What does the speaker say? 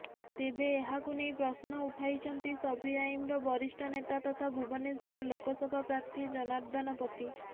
ତେବେ ଏହାକୁ ନେଇ ପ୍ରଶ୍ନ ଉଠାଇଛନ୍ତି ସପିଆଇମର ବରିଷ୍ଠ ନେତା ତଥା ଭୁବନେଶ୍ୱର ଲୋକସଭା ପ୍ରାର୍ଥୀ ଜନାର୍ଦ୍ଦନ ପତି